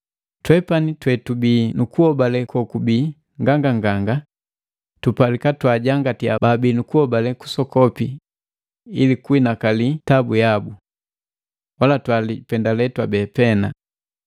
Twepani twetubii nukuhobale kokubi nganganganga tupalika twaajangatiya baabi nukuhobale kusokopi ili kuinakali tabu yabu. Wala twalipendale twabeti pena.